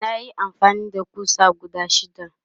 nayi amfani da ƙusa guda shida